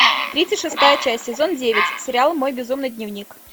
тридцать шестая часть сезон девять сериал мой безумный дневник